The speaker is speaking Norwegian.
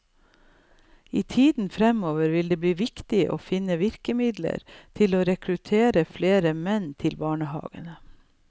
I tiden framover vil det bli viktig å finne virkemidler for å rekruttere flere menn til barnehagene.